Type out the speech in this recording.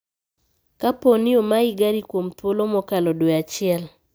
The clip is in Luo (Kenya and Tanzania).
Kapooni omayi gari kuom thuolo makalo dwee achiel